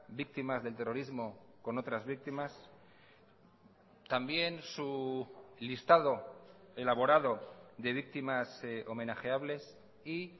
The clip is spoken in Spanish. víctimas del terrorismo con otras víctimas también su listado elaborado de víctimas homenajeables y